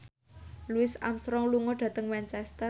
Louis Armstrong lunga dhateng Manchester